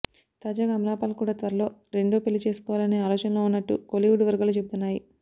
తాజాగా అమలా పాల్ కూడా త్వరలో రెండో పెళ్లి చేసుకోవాలనే ఆలోచనలో ఉన్నట్టు కోలీవుడ్ వర్గాలు చెబుతున్నాయి